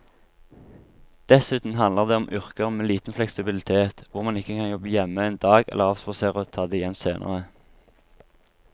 Dessuten handler det om yrker med liten fleksibilitet hvor man ikke kan jobbe hjemme en dag eller avspasere og ta det igjen senere.